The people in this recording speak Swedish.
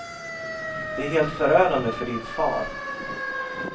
Det är helt förödande för din far.